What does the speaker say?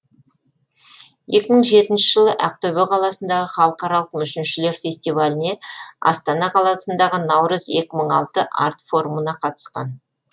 екі мың жетінші жылы ақтөбе қаласындағы халықаралық мүсіншілер фестиваліне астана қаласындағы наурыз екі мың алты арт форумына қатысқан